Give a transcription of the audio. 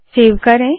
save करे